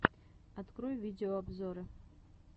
открой видеообзоры